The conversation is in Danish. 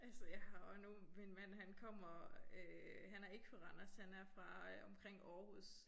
Altså jeg har også nu min mand han kommer øh han er ikke fra Randers han er fra øh omkring Aarhus